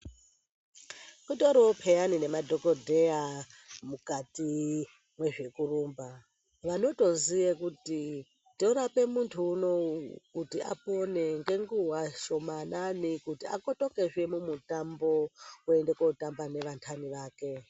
Kutoriwo peyani nemadhogodheya mukati mwezvekurumba, vanotoziye kuti torape muntu unoo kuti apone ngenguva shomanani kuti akotokezve mumutambo kuende kunotamba nevantani vake